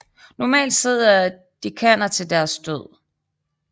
Normalt sidder dekaner til deres død